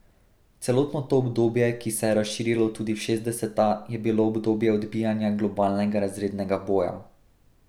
Celotno to obdobje, ki se je razširilo tudi v šestdeseta, je bilo obdobje odbijanja globalnega razrednega boja.